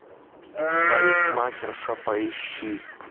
парикмахерша поищи